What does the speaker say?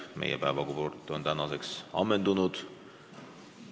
Meie päevakord on tänaseks ammendunud.